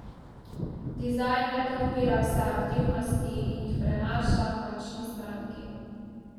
Dizajn le podpira vse aktivnosti in jih prenaša končni stranki.